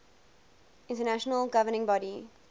international governing body